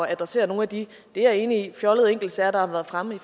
at adressere nogle af de det er jeg enig i fjollede enkeltsager der har været fremme